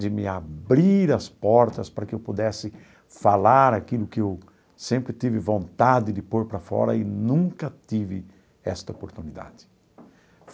de me abrir as portas para que eu pudesse falar aquilo que eu sempre tive vontade de pôr para fora e nunca tive esta oportunidade.